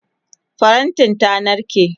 farantin ta narke